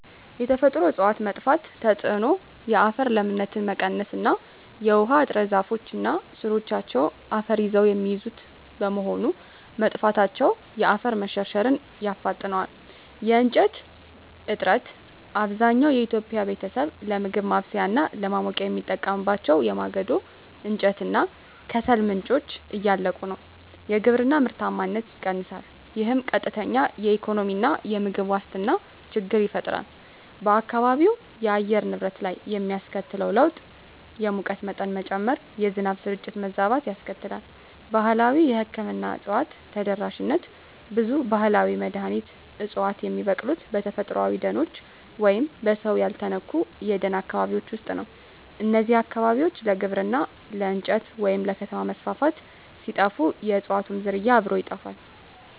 የተፈጥሮ እፅዋት መጥፋት ተጽዕኖ የአፈር ለምነት መቀነስ እና የውሃ እጥረ ዛፎች እና ሥሮቻቸው አፈርን ይዘው የሚይዙት በመሆኑ፣ መጥፋታቸው የአፈር መሸርሸርን ያፋጥነዋል። የእንጨት እጥረት፣ አብዛኛው የኢትዮጵያ ቤተሰብ ለምግብ ማብሰያ እና ለማሞቂያ የሚጠቀምባቸው የማገዶ እንጨት እና ከሰል ምንጮች እያለቁ ነው። የግብርና ምርታማነት ይቀንሳል፣ ይህም ቀጥተኛ የኢኮኖሚና የምግብ ዋስትና ችግር ይፈጥራል። በአካባቢው የአየር ንብረት ላይ የሚያስከትለው ለውጥ የሙቀት መጠን መጨመር፣ የዝናብ ስርጭት መዛባት ያስከትላል። ባህላዊ የሕክምና እፅዋት ተደራሽነት ብዙ ባህላዊ መድኃኒት ዕፅዋት የሚበቅሉት በተፈጥሮአዊ ደኖች ወይም በሰው ያልተነኩ የደን አካባቢዎች ውስጥ ነው። እነዚህ አካባቢዎች ለግብርና፣ ለእንጨት ወይም ለከተማ መስፋፋት ሲጠፉ፣ የእፅዋቱም ዝርያ አብሮ ይጠፋል።